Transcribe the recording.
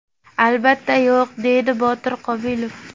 Albatta yo‘q”, – deydi Botir Qobilov.